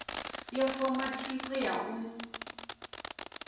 yo foma thikho ya u